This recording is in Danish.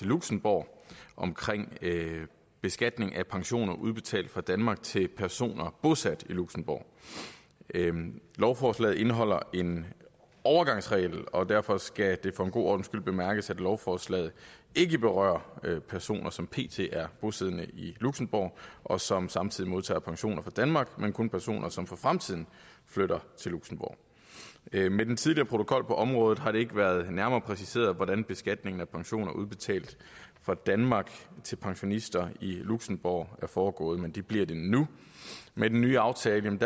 luxembourg om beskatning af pensioner udbetalt fra danmark til personer bosat i luxembourg lovforslaget indeholder en overgangsregel og derfor skal det for en god ordens skyld bemærkes at lovforslaget ikke berører personer som pt er bosiddende i luxembourg og som samtidig modtager pension fra danmark men kun personer som for fremtiden flytter til luxembourg med den tidligere protokol på området har det ikke været nærmere præciseret hvordan beskatningen af pensioner udbetalt fra danmark til pensionister i luxembourg er foregået men det bliver det nu med den nye aftale